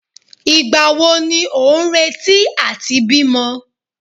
Ìgbà wo ni ò ń retí àti bímọ?